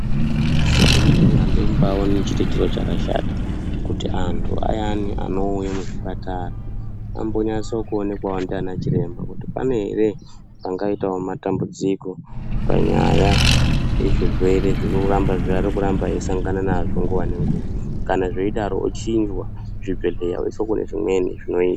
Inini andimbaoni chiri chiro chakashata kuti antu ayani anouya kuzvipatara ombonyatsakuonekwawo ndiana chiremba kuti pane ere angaitawo matambudziko panyaya yezvirwere zvaari kuramba eisangana nazvo nguwa nenguwa kana zveidaro ochinjwa zvibhedhlera oiswa kune zvimweni zvinoita.